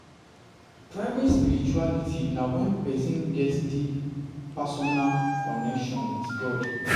Private spirituality na when persin get deep personal connection with God